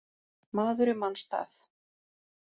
Maður í manns stað